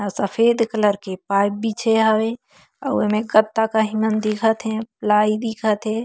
अऊ सफेद कलर के पाइप बिछे हवे अऊ एमे कत्ता काहे मन दिखा थे लाई दिखा थे।